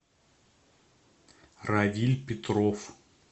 равиль петров